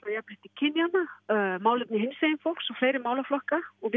jafnrétti kynjanna og málefni hinsegin fólks og fleiri málaflokka og